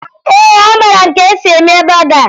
Ee, amara m ka esi eme bọga